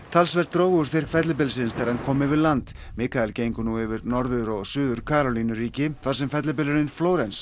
talsvert dró úr styrk fellibylsins þegar hann kom yfir land Mikael gengur nú yfir Norður og Suður Karólínu þar sem fellibylurinn